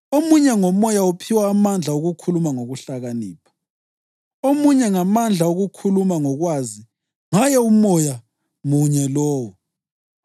Omunye ngoMoya uphiwa amandla okukhuluma ngokuhlakanipha, omunye amandla okukhuluma ngokwazi ngaye uMoya munye lowo,